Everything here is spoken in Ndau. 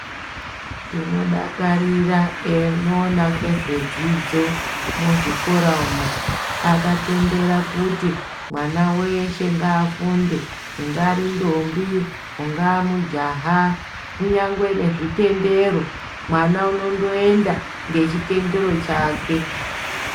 Tinodakarira enoona ngezvedzidzo muzvikora umo, akatendera kuti mwana weshe ngafunde ,ingari ndombi, ungaa mujaha, kunyangwe nezvitendero, mwana unondoenda ngechitendero chake.